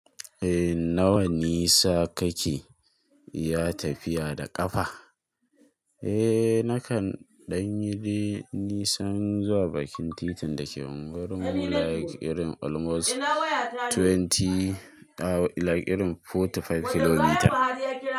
Eh nawa nisa kake ya tafiya da kafa? Eh nakan ɗan yi dai nisan zuwa bakin titin da ke unguwar mu like irin almost twenty, like irin forty five kilometer.